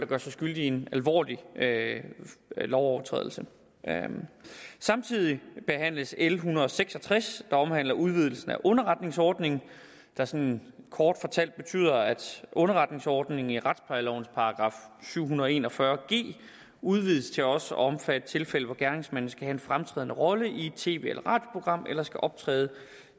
gør sig skyldige i en alvorlig lovovertrædelse samtidig behandles l en hundrede og seks og tres der omhandler udvidelsen af underretningsordningen der sådan kort fortalt betyder at underretningsordningen i retsplejelovens § syv hundrede og en og fyrre g udvides til også at omfatte tilfælde hvor gerningsmanden skal have en fremtrædende rolle i et tv eller radioprogram eller skal optræde